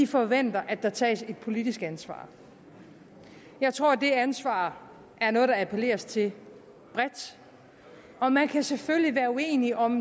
forventer at der tages et politisk ansvar jeg tror at det ansvar er noget der appelleres til bredt og man kan selvfølgelig være uenige om